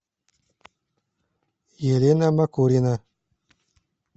елена макурина